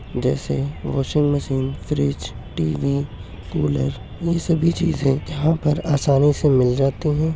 जैसे washing machine fridge TV cooler ये सभी चीजें यहाँ पर आसानी से मिल जाती हैं।